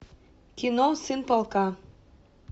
кино сын полка